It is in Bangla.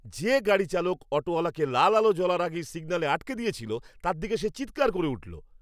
যে গাড়ি চালক অটোওয়ালাকে লাল আলো জ্বলার আগেই সিগন্যালে আটকে দিয়েছিল, তার দিকে সে চিৎকার করে উঠল।